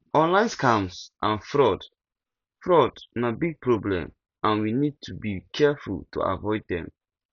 online scams and fraud fraud na big problem and we need to be careful to avoid dem